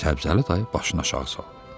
Səbzəli dayı başını aşağı saldı.